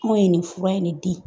Anw yr nin fura in de di.